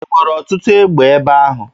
E nwere ọtụtụ egbe ebe ahụ?